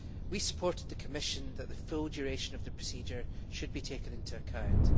We supported the Commission that the full duration of the procedure should be taken into account.